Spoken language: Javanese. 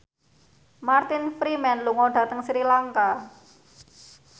Martin Freeman lunga dhateng Sri Lanka